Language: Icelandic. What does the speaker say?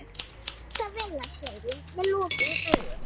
Ég hlusta á vélarhljóðið með lokuðum augum.